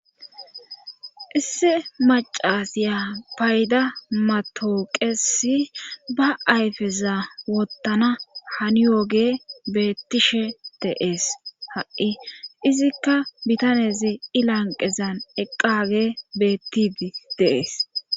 Isse macasiya payda matooqesi ba ayfeza wottana haniyooge beettishe deees ha'i izikka bitanezi ilanqezan eqqage beettidi deees.